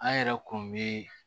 An yɛrɛ kun bɛ